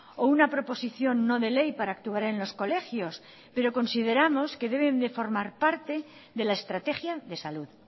o una proposición no de ley para actuar en los colegios pero consideramos que deben de formar parte de la estrategia de salud